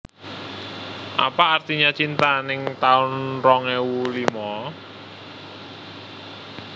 Apa Artinya Cinta ning taun rong ewu limo